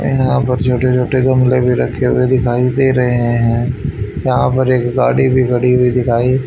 यहां पर छोटे छोटे गमले भी रखे हुए दिखाई दे रहे है यहां पर एक गाड़ी भी खड़ी हुई दिखाई--